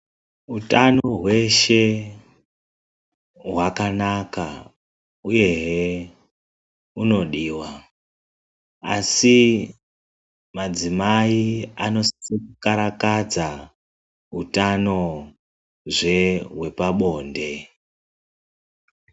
Hutano hweshe hwakanaka uyehe unodiwa, asi madzimai anosise kukarakadza hutanozve hwepabonde.